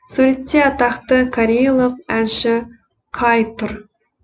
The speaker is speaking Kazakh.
суретте атақты кореялық әнші каи тұр